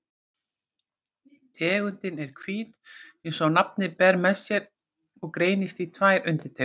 Tegundin er hvít eins og nafnið ber með sér og greinist í tvær undirtegundir.